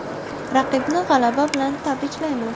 Raqibni g‘alaba bilan tabriklayman.